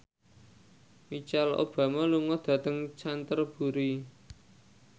Michelle Obama lunga dhateng Canterbury